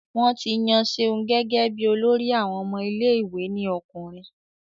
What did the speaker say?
Wọ́n ti yan Ṣeun gẹ́gẹ́ bí olórí àwọn ọmọ ilé ìwé ní ọkùnrin